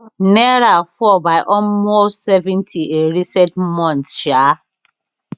naira fall by almost seventy in recent months um